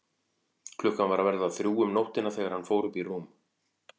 Klukkan var að verða þrjú um nóttina þegar hann fór upp í rúm.